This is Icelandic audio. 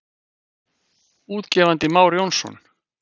Útgefandi Már Jónsson.